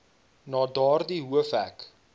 na daardie hoofhek